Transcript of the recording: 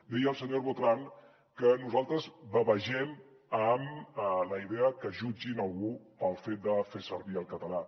deia el senyor botran que nosaltres bavegem amb la idea que jutgin algú pel fet de fer servir el català